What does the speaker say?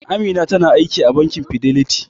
Amina tana aiki a bankin Fidelity.